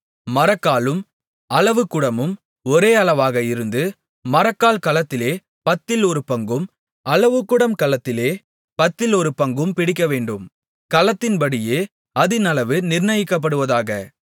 மரக்காலும் அளவுகுடமும் ஒரே அளவாக இருந்து மரக்கால் கலத்திலே பத்தில் ஒரு பங்கும் அளவுகுடம் கலத்திலே பத்தில் ஒரு பங்கும் பிடிக்கவேண்டும் கலத்தின்படியே அதின் அளவு நிர்ணயிக்கப்படுவதாக